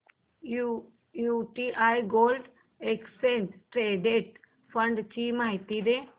UTI gold exchange traded fund ची माहिती दे